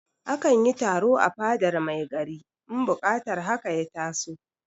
A kan yi taro a fadar mai gari in buƙatar haka ya taso.